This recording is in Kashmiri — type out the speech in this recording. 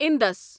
اِنٛدَس